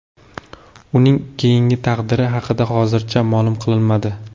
Uning keyingi taqdiri haqida hozircha ma’lum qilinmadi.